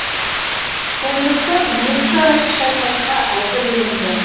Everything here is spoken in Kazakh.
сондықтан екі тарап шайқасқа әзірленді